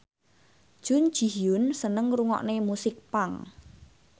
Jun Ji Hyun seneng ngrungokne musik punk